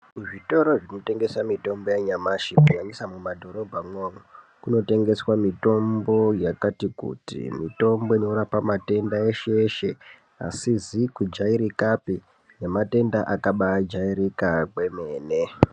Zvitoro zvinotengesa mitombo yanyamashi kunyanyisa mumadhorobha mwo kuno tengeswa mitombo yakati kuti mitombo inoropa matenda eshe eshe asizi kujairikapi nematenda akaba jairika kwemene.